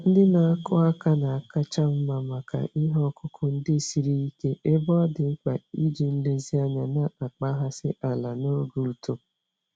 Ndị na-akụ aka na-akacha mma maka ihe ọkụkụ ndị siri ike ebe ọ dị mkpa iji nlezianya na-akpaghasị ala n'oge uto.